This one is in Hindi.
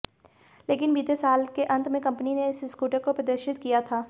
लेकिन बीते साल के अंत में कंपनी ने इस स्कूटर को प्रदर्शित किया था